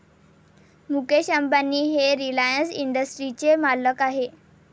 मुकेश अंबानी हे रिलायन्स इंडस्ट्रीजचे मालक आहेत.